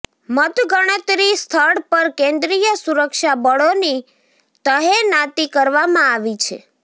મતગણતરી સ્થળ પર કેન્દ્રીય સુરક્ષાબળોની તહેનાતી કરવામાં આવી છે